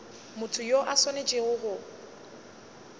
motho yo a swanetšego go